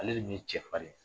Ale de min ye cɛ farin ye